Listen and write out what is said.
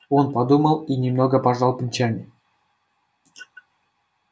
он подумал и немного пожал плечами